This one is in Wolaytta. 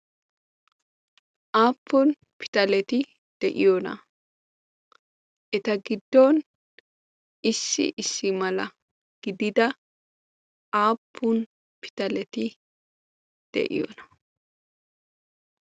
aappun pitaleti de'iyoona? eta giddon issi issi mala gidida aappun pitaleti de'iyoona?